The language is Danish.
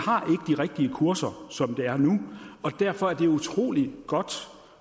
rigtige kurser sådan som det er nu og derfor er det utrolig godt